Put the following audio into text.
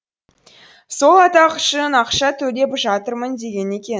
сол атақ үшін ақша төлеп жатырмын деген екен